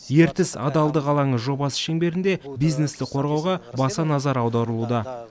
ертіс адалдық алаңы жобасы шеңберінде бизнесті қорғауға баса назар аударылуда